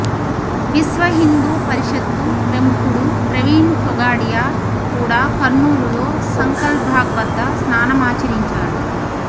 విశ్వహిందూ పరిషత్తు ప్రముఖుడు ప్రవీణ్ తొగాడియా కూడా కర్నూలులో సంకల్బాగ్ వద్ద స్నానమాచరించాడు